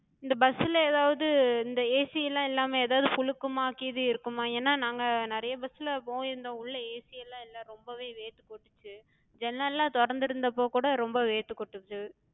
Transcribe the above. இந்த bus ல எதாவது இந்த AC லா இல்லாம ஏதாது புழுக்கமா கீது இருக்குமா? ஏனா நாங்க நெறைய bus லப் போயிருந்தோ, உள்ள AC எல்லா இல்ல, ரொம்பவே வேர்த்து கொட்டுச்சு. ஜன்னல்லா தொறந்திருந்தப்ப கூட ரொம்ப வேர்த்து கொட்டுச்சு.